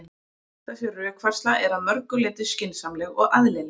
Þessi rökfærsla er að mörgu leyti skynsamleg og eðlileg.